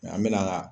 Nka an bɛ na